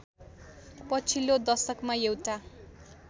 पछिल्लो दशकमा एउटा